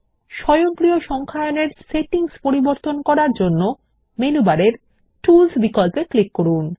স্বয়ংক্রিয় সংখ্যায়ন -এর সেটিংস পরিবর্তন করার জন্য মেনু বারে টুলস বিকল্পে ক্লিক করুন